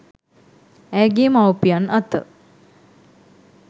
ඇයගේ මව්පියන් අත